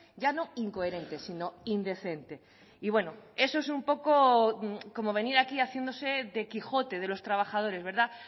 ya no incoherente sino indecente y bueno eso es un poco como venir aquí haciéndose de quijote de los trabajadores verdad